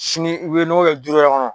Sini u be nɔgɔ kɛ du wɛrɛ kɔnɔ